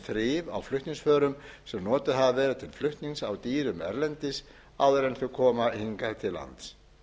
um þrif á flutningsförum sem notuð hafa verið til flutnings á dýrum erlendis áður en þau koma hingað til lands